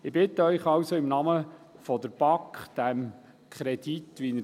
Ich bitte Sie im Namen der BaK, dem vorliegenden Kredit zuzustimmen.